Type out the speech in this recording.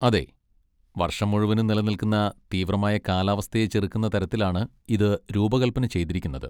അതെ, വർഷം മുഴുവനും നിലനിൽക്കുന്ന തീവ്രമായ കാലാവസ്ഥയെ ചെറുക്കുന്ന തരത്തിലാണ് ഇത് രൂപകൽപ്പന ചെയ്തിരിക്കുന്നത്.